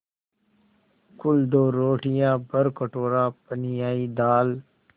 कुल दो रोटियाँ भरकटोरा पनियाई दाल